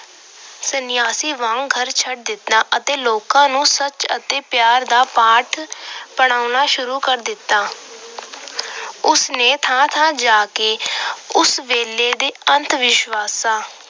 ਸਨਿਆਸੀ ਵਾਂਗ ਘਰ ਛੱਡ ਦਿੱਤਾ ਅਤੇ ਲੋਕਾਂ ਨੂੰ ਸੱਚ ਅਤੇ ਪਿਆਰ ਦਾ ਪਾਠ ਪੜ੍ਹਾਉਣਾ ਸ਼ੁਰੂ ਕਰ ਦਿੱਤਾ। ਉਸ ਨੇ ਥਾਂ ਥਾਂ ਜਾ ਕੇ ਉਸ ਵੇਲੇ ਦੇ ਅੰਧਵਿਸ਼ਵਾਸਾਂ